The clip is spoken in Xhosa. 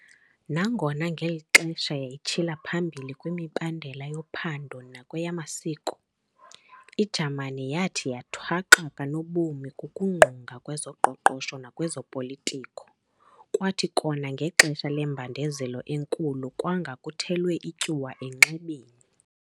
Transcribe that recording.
Nangona ngeli xesha yayitshila phambili kwimibandela yophando nakweyamasiko, iJamani yathi yathwaxwa kanobom kukugungqa kwezoqoqosho nakwezopolitiko kwathi kona ngexesha lembandezelo eNkulu kwanga kuthelwe ityuwa enxebeni.